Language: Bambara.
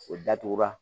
O datugulan